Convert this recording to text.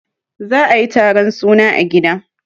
za a yi taron suna a gida